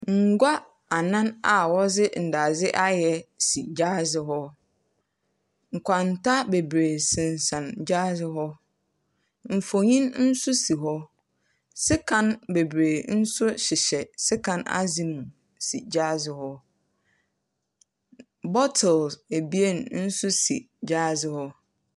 Ngua anan a wɔdze ndadze ayɛ si gyaadze hɔ. Nkwanta bebree sensɛn gyaadze hɔ. Mfonin nso si hɔ. Sekan bebree nso hyehyɛ sekan adze no mu si gyaadze hɔ. N bottles ebien nso si gyaadze hɔ.